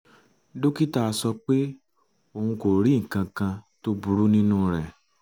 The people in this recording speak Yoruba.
dókítà sọ pé òun kò rí nǹkan kan tó burú nínú rẹ̀